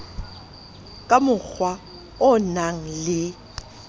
ka mokgwa o nang le